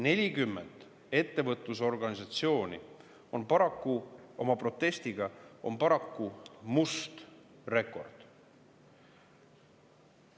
40 ettevõtlusorganisatsiooni oma protestiga on paraku must rekord.